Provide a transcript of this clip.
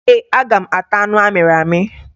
Ee, aga m ata anụ amịrị amị.